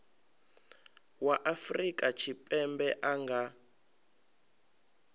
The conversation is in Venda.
wa afrika tshipembe a nga